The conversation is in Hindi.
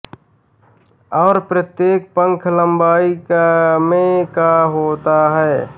और प्रत्येक पंख लंबाई में का होता है